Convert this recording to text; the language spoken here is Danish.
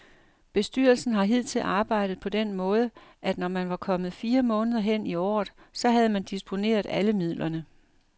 Bestyrelsen har hidtil arbejdet på den måde, at når man var kommet fire måneder hen i året, så havde man disponeret alle midlerne.